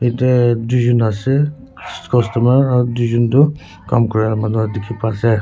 jatte duijont ase customer aru duijont tu kam Kora manu dekhi pai ase.